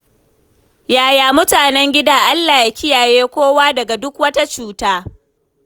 Yaya mutanen gida? Allah ya kiyaye kowa daga duk wata cuta.